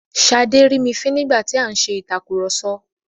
Ṣadé rí mi fín nígbà tí a ń ṣe ìtàkurọ̀sọ.